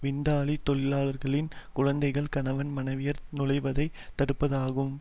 விருந்தாளி தொழிலாளர்களின் குழந்தைகள் கணவன் மனைவியர் நுழைவதை தடுப்பதாகும்